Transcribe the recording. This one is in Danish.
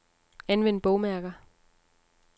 Anvend bogmærker.